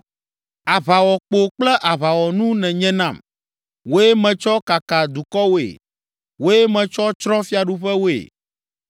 “Aʋawɔkpo kple aʋawɔnu nènye nam, wòe metsɔ kaka dukɔwoe, wòe metsɔ tsrɔ̃ fiaɖuƒewoe.